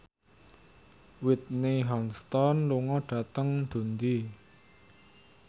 Whitney Houston lunga dhateng Dundee